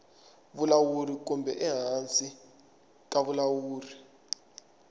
vulawuri kumbe ehansi ka vulawuri